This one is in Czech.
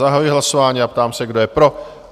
Zahajuji hlasování a ptám se, kdo je pro?